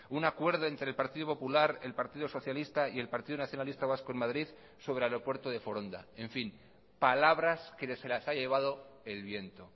un acuerdo entre el partido popular el partido socialista y el partido nacionalista vasco en madrid sobre el aeropuerto de foronda en fin palabras que se las ha llevado el viento